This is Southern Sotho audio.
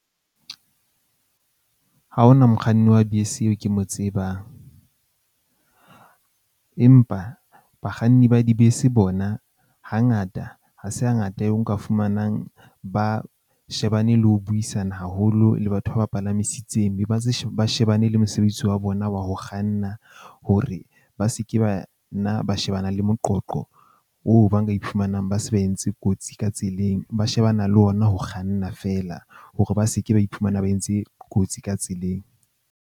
Ha ho na mokganni wa bese eo ke mo tsebang. Empa bakganni ba dibese bona, hangata ha se hangata eo nka fumanang, ba shebane le ho buisana haholo le batho ba ba palamisitseng. Be ba ntse ba shebane le mosebetsi wa bona wa ho kganna. Hore ba seke ba na ba shebana le moqoqo hoo ba nka iphumanang ba se ba entse kotsi ka tseleng, ba shebana le ona ho kganna fela hore ba seke ba iphumana ba entse kotsi ka tseleng.